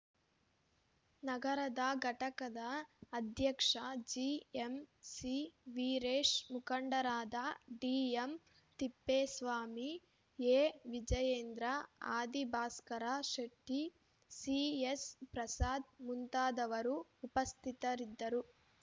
ನಗರದ ಘಟಕದ ಅಧ್ಯಕ್ಷ ಜೆಎಂಸಿ ವೀರೇಶ್‌ ಮುಖಂಡರಾದ ಡಿಎಂತಿಪ್ಪೇಸ್ವಾಮಿ ಎವಿಜಯೇಂದ್ರ ಆದಿಭಾಸ್ಕರ ಶೆಟ್ಟಿ ಸಿಎಸ್‌ಪ್ರಸಾದ್‌ ಮುಂತಾದವರು ಉಪಸ್ಥಿತರಿದ್ದರು